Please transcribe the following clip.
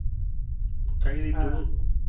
Kaithi two